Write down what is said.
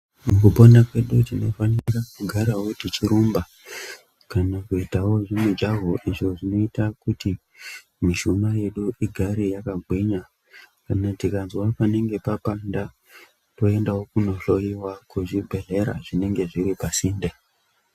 Mukupona kwedu tinofanira kugarawo tichirumba kana kuitawo zvimujaho , izvo zvinoita kuti mishuna yedu igare yakagwinya kana tikanzwa panenge papanda toendawo kunohloiwa kuzvibhedhlera zvinenge zviri pasinde.